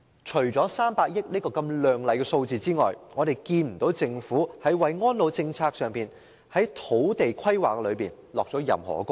除300億元這個亮麗的數字外，政府沒有在安老政策及土地規劃上下任何工夫。